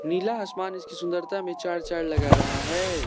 नीला आसमान इसकी सुंदरता में चार चांद लगा रहा है।